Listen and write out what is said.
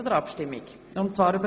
Wir stimmen über eine Motion ab.